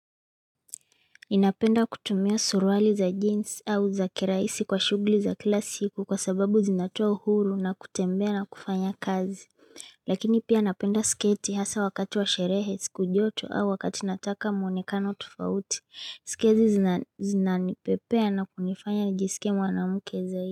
Napenda kutumia suruali za jeans au za kiraisi kwa shughuli za kila siku kwa sababu zinatoa uhuru na kutembea na kufanya kazi. Lakini pia napenda sketi hasa wakati wa sherehe siku joto au wakati nataka mwonekano tufauti. Sketi zinanipepea na kunifanya njisike mwanamke zaidi.